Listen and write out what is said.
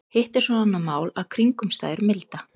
Hitt er svo annað mál að kringumstæður milda.